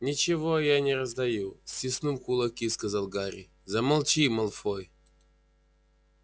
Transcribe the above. ничего я не раздаю стиснув кулаки сказал гарри замолчи малфой